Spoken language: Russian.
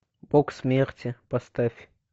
бог смерти поставь